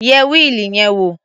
Yẹ wíìlì yẹn wò.